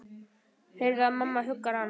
Heyri að mamma huggar hann.